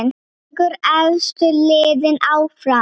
Fjögur efstu liðin áfram.